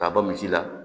K'a ban misi la